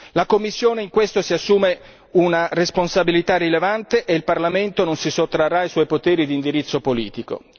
La Commissione in questo si assume una responsabilità rilevante e il Parlamento non si sottrarrà ai suoi poteri di indirizzo politico.